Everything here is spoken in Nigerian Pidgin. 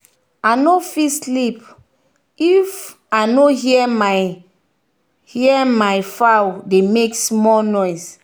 i no fit sleep if i no hear my hear my fowl dey make small noise.